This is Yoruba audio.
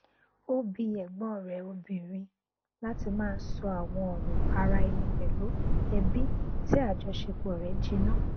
ó bi ẹgbọn rẹ obìnrin láti má sọ àwọn ọrọ ara ẹni pẹlú ẹbí tí àjọṣepọ̀ rẹ jìnnà